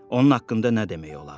Onun haqqında nə demək olardı?